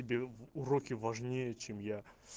уроки важнее чем я